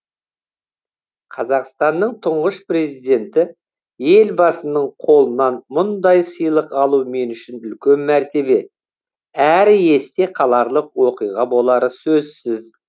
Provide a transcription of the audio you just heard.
қазақстанның тұңғыш президенті елбасының қолынан мұндай сыйлық алу мен үшін үлкен мәртебе әрі есте қаларлық оқиға болары сөзсіз